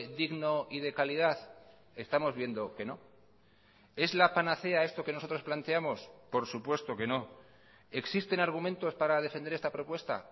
digno y de calidad estamos viendo que no es la panacea esto que nosotros planteamos por supuesto que noexisten argumentos para defender esta propuesta